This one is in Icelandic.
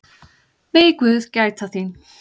Megi guð gæta þín.